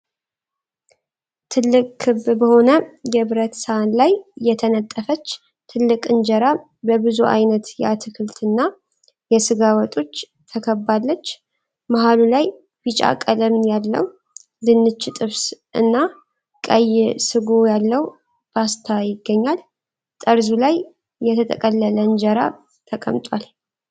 ትልቅ ክብ በሆነ የብረት ሳህን ላይ የተነጠፈች ትልቅ እንጀራ በብዙ አይነት የአትክልት እና የስጋ ወጦች ተከባለች። መሃሉ ላይ ቢጫ ቀለም ያለው ድንች ጥብስ እና ቀይ ስጎ ያለው ፓስታ ይገኛሉ። ጠርዙ ላይ የተጠቀለለ እንጀራ ተቀምጧል።